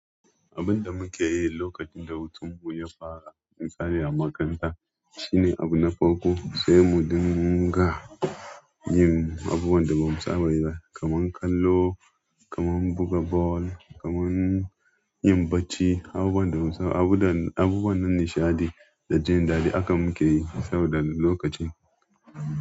Abun da muke yi lokacin da hutun mu ya fara, misali a makaranta shine abu na farko sai mu dinga yin abubuwan da ba mu saba yi ba, kaman kallo, kaman buga ball, kaman yin bacci, abubuwan da mu saba, abubuwan nishaɗi da jin daɗi haka muke yi saboda lokacin.